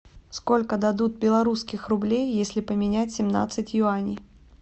сколько дадут белорусских рублей если поменять семнадцать юаней